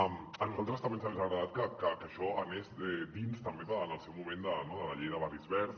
a nosaltres també ens hagués agradat que això anés dins també en el seu moment de la llei de barris verds